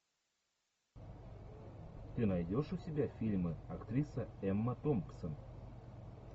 ты найдешь у себя фильмы актриса эмма томпсон